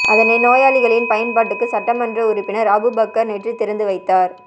அதனை நோயாளிகளின் பயன்பாட்டுக்கு சட்டமன்ற உறுப்பினர் அபூபக்கர் நேற்று திறந்து வைத்தார்